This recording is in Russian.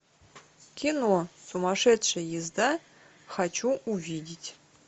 кино сумасшедшая езда хочу увидеть